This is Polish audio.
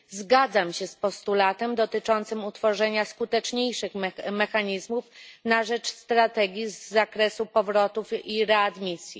Zgadzam się z postulatem dotyczącym utworzenia skuteczniejszych mechanizmów na rzecz strategii z zakresu powrotów i readmisji.